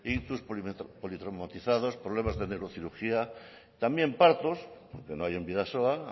ictus politraumatizados problemas de neurocirugía también partos que no hay en bidasoa